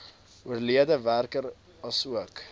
oorlede werker asook